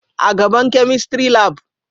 A gaban chemistry labu